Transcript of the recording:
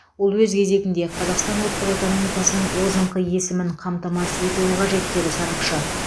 ол өз кезегінде қазақстан ұлттық экономикасының озыңқы өсімін қамтамасыз етуі қажет деді сарапшы